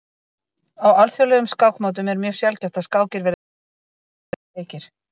á alþjóðlegum skákmótum er mjög sjaldgæft að skákir verði lengri en eitt hundruð fimmtíu leikir